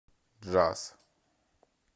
джаз